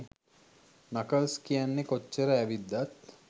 knuckles කියන්නේ කොච්චරක් ඇවිද්දත්